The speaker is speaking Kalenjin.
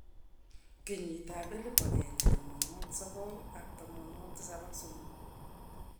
kenyitab 1973.